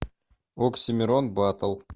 оксимирон батл